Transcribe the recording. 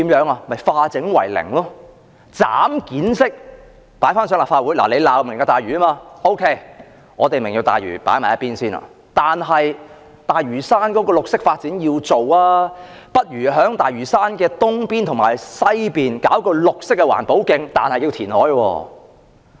政府可以化整為零，分階段提交立法會，既然泛民反對"明日大嶼"，便把"明日大嶼"擱在一旁，但大嶼山要進行綠色發展，便提議在大嶼山東邊和西邊興建綠色環保徑，不過要填海。